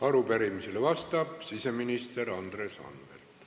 Arupärimisele vastab siseminister Andres Anvelt.